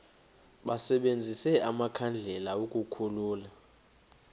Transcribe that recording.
basebenzise amakhandlela ukukhulula